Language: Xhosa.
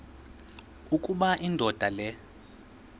ukuba indoda le